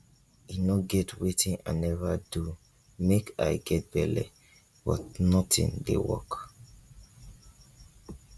e no get wetin i never do make i get belle but nothing dey work